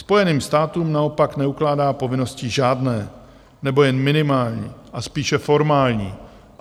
Spojeným státům naopak neukládá povinnosti žádné nebo jen minimální a spíše formální.